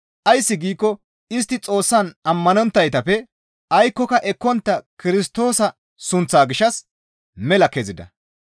Ays giikko istti Xoossaa ammanonttaytappe aykkoka ekkontta Kirstoosa sunththaa gishshas mela kezida.